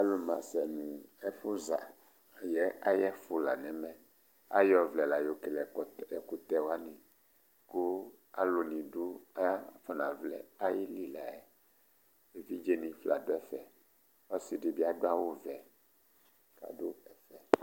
Alu masɛ nʋ ɛfʋza ayʋ ɛfʋ la nʋ ɛmɛ Ayʋ ɔvlɛ la yɔ kele ɛkutɛ wani kʋ alu ni du kʋ afɔna vlɛ ayìlí la yɛ Evidze ni fla du ɛfɛ Ɔsìdí bi adu awu vɛ